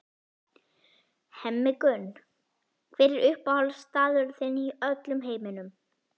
Hemmi Gunn Hver er uppáhaldsstaðurinn þinn í öllum heiminum?